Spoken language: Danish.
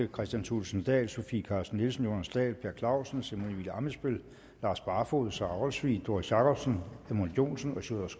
kristian thulesen dahl sofie carsten nielsen jonas dahl per clausen simon emil ammitzbøll lars barfoed sara olsvig doris jakobsen edmund joensen